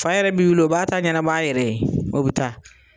Fa yɛrɛ bi wili o b'a ta ɲanabɔ a yɛrɛ ye, o bɛ taa.